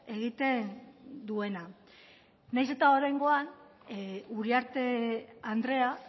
egiten duena nahiz eta oraingoan uriarte andrea